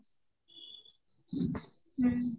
ହୁଁ